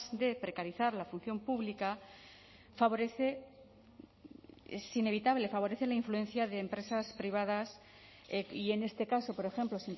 de precarizar la función pública favorece es inevitable favorece la influencia de empresas privadas y en este caso por ejemplo